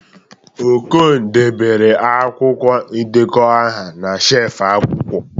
Okon dobere akwụkwọ ndekọ aha na shelf akwụkwọ